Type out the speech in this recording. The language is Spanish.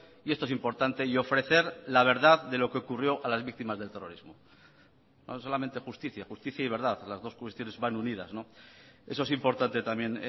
y esto es importante y ofrecer la verdad de lo que ocurrió a las víctimas del terrorismo no solamente justicia justicia y verdad las dos cuestiones van unidas eso es importante también